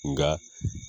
Nka